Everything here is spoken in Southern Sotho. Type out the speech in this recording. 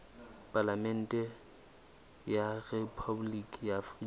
palamente ya rephaboliki ya afrika